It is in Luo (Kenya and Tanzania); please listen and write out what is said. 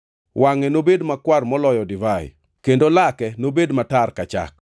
Wangʼe nobed makwar moloyo divai kendo lake nobed matar ka chak.